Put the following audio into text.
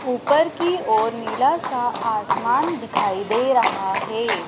ऊपर की ओर नीला सा आसमान दिखाई दे रहा हैं।